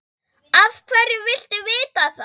Af hverju viltu vita það?